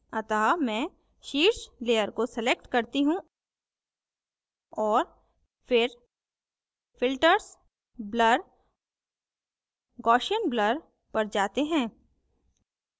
अतः मैं शीर्ष layer को select करती हूँ और फिर filters blur gaussian blur पर जाते हैं